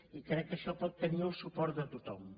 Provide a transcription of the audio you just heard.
i crec que això pot tenir el suport de tothom